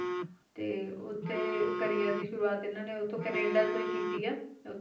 career ਦੇ ਸੁਰਵਾਤ ਹਨ ਨੇ ਓਥੋਂ ਕੈਨੇਡਾ ਤੋਂ ਹੈ ਕੀਤੀ ਹੈ